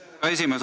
Hea esimees!